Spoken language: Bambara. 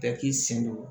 Bɛɛ k'i sen don